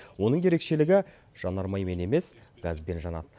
оның ерекшелігі жанармаймен емес газбен жанады